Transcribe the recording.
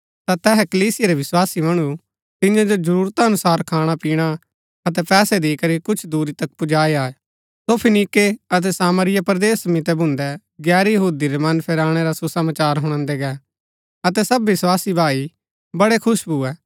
ता तैहा कलीसिया रै विस्वासी मणु तियां जो जरूरता अनुसार खाणा पिणा अतै पैसै दिकरी कुछ दूरी तक पुजाई आये सो फीनीके अतै सामरिया परदेस मितै भून्दै गैर यहूदी रै मन फेराणै रा सुसमाचार हुणादै गै अतै सब विस्वासी भाई बड़ै खुश भुए